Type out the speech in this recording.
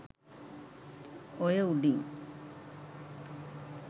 ඔය උඩින්